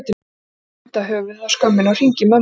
og ég varð að bíta höfuðið af skömminni og hringja í mömmu.